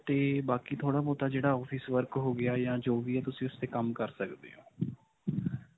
'ਤੇ ਬਾਕੀ ਥੋੜਾ-ਬਹੁਤ, ਜਿਹੜਾ office work ਹੋ ਗਿਆ ਜਾਂ ਜੋ ਵੀ ਹੈ ਤੁਸੀਂ ਉਸ ਤੇ' ਕੰਮ ਕਰ ਸਕਦੇ ਹੋ.